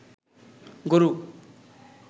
গরু